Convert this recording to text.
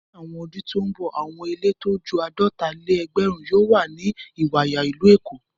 Ní àwọn ọdún tó ń bọ̀, àwọn ilé tó ju àádọ́ta-lé-ẹgbẹ̀rún yóò wà ní Ìwàyà, ìlú Èkó.